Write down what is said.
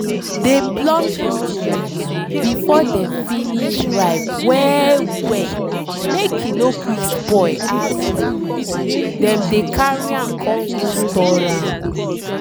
dey pluck your tomato before dem finish ripe well well make e no quick spoil as um dem dey carry am con go store am.